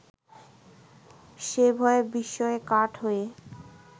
সে ভয়ে বিস্ময়ে কাঠ হয়ে